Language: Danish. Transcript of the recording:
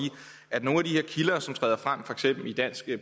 at nogle af de her kilder som træder frem i for eksempel dansk